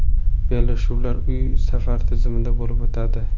Bellashuvlar uy-safar tizimida bo‘lib o‘tadi.